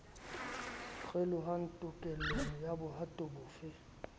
kgelohang tokelong ya bohato bofe